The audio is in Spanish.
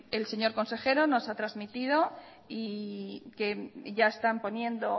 el señor consejero nos ha transmitido que ya están poniendo